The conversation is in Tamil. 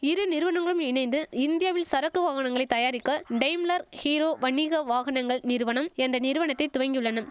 இரு நிறுவனங்களும் இணைந்து இந்தியாவில் சரக்கு வாகனங்களை தயாரிக்க டெய்ம்மலர் ஹீரோ வணிக வாகனங்கள் நிறுவனம் என்ற நிறுவனத்தை துவங்கியுள்ளனம்